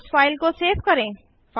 अब इस फाइल को सेव करें